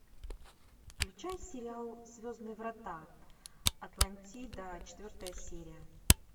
включай сериал звездные врата атлантида четвертая серия